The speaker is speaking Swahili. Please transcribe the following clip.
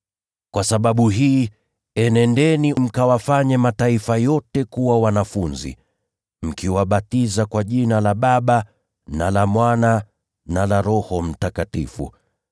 Kwa sababu hii, enendeni mkawafanye mataifa yote kuwa wanafunzi, mkiwabatiza kwa Jina la Baba na la Mwana na la Roho Mtakatifu,